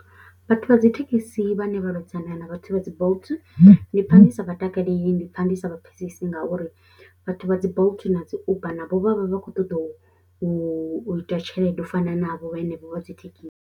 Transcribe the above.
Vhathu vha dzi thekhisi vhane vha lwedzana na vhathu vha dzi Bolt ndi pfha ndi sa vha takaleli, ndi pfha ndi sa vha pfhesesi ngauri vhathu vha dzi Bolt na dzi Uber navho vha vha vha khou ṱoḓa u u ita tshelede u fana navho henevho vha dzi thekhisi.